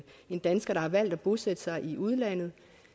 en dansker der har valgt at bosætte sig i udlandet